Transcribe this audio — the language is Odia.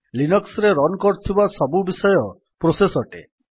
ଲିନକ୍ସ୍ ରେ ରନ୍ କରୁଥିବା ସବୁବିଷୟ ପ୍ରୋସେସ୍ ଅଟେ